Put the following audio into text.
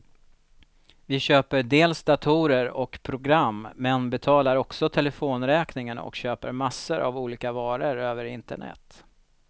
Vi köper dels datorer och program, men betalar också telefonräkningen och köper massor av olika varor över internet.